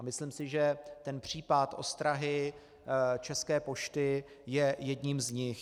A myslím si, že ten případ ostrahy České pošty je jedním z nich.